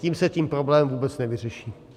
Tím se ten problém vůbec nevyřeší.